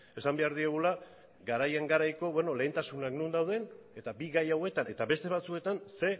esan behar diegula garaien garaiko lehentasunak non dauden eta bi gai hauetan eta beste batzuetan ze